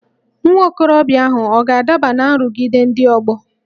Nwa okorobịa ahụ ọ̀ ga-adaba ná nrụgide ndị ọgbọ?